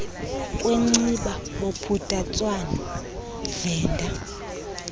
kwenciba bophuthatswana venda